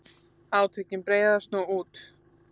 Átökin breiðast nú út.